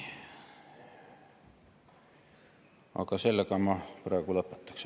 Aga sellega ma praegu lõpetaksin.